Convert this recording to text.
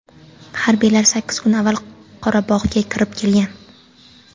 Harbiylar sakkiz kun avval Qorabog‘ga kirib bo‘lgan.